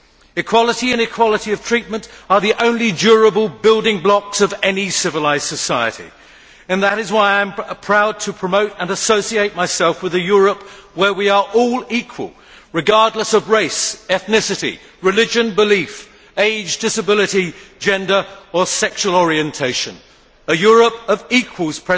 Equality and equality of treatment are the only durable building blocks of any civilised society. And that is why I am proud to promote and associate myself with a Europe where we are all equal, regardless of race, ethnicity, religion, belief, age, disability, gender or sexual orientation a Europe of equals